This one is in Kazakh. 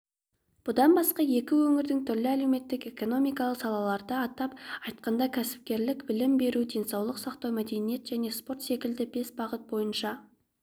бұдан басқа екі өңірдің түрлі әлеуметтік-экономикалық салаларда атап айтқанда кәсіпкерлік білім беру денсаулық сақтау мәдениет және спорт секілді бес бағыт бойынша